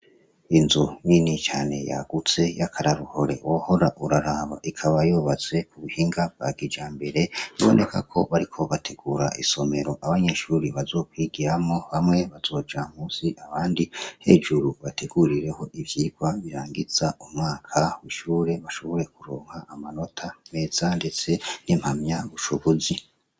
Inzu nini cane yagutse y'akararuhore wohora uraraba ikaba yobatse ku buhinga bwa gija mbere niboneka ko bariko bategura isomero abanyeshuri bazokwigiramo bamwe bazoja musi abandi hejuru bategurireho ivyirwa birangiza umaka wishure bashobore kuronka amana mota mwezanditse n'impamya bushobozi.